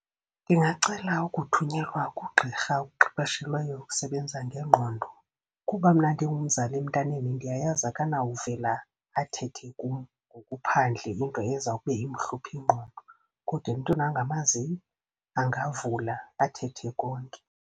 Ndingacela ukuthunyelwa kugqirha okuqeqeshelweyo ukusebenza ngengqondo. Kuba mna ndingumzali emntaneni ndiyayazi akanawuvela athethe kum ngokuphandle into eza kube imhlupha ingqondo. Kodwa emntwini angamaziyo angavula, athethe konke.